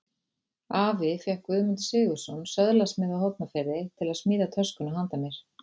Afi fékk Guðmund Sigurðsson, söðlasmið á Hornafirði, til að smíða töskuna handa mér.